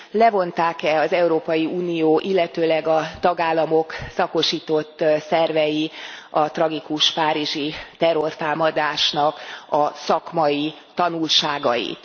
Levonták e az Európai Unió, illetőleg a tagállamok szakosított szervei a tragikus párizsi terrortámadásnak a szakmai tanulságait?